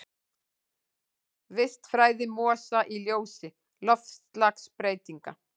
Vistfræði mosa í ljósi loftslagsbreytinga.